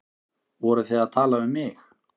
Voruð þið að tala um mig?